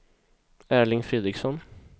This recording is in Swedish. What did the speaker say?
Erling Fredriksson